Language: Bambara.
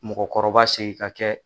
Mɔgɔkɔrɔba segin ka kɛ